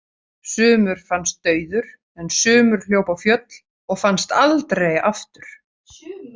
Sumur fannst dauður en sumur hljóp á fjöll og fannst aldrei aftur.